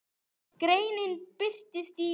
Greinin birtist í